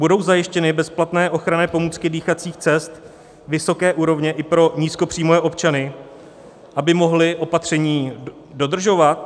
Budou zajištěny bezplatné ochranné pomůcky dýchacích cest vysoké úrovně i pro nízkopříjmové občany, aby mohli opatření dodržovat?